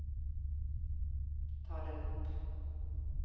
ta den opp